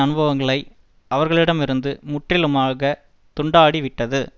அனுபவங்களை அவர்களிடமிருந்து முற்றிலுமாக துண்டாடி விட்டது